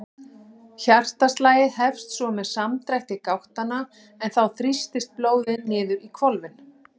Hjartaslagið hefst svo með samdrætti gáttanna en þá þrýstist blóðið niður í hvolfin.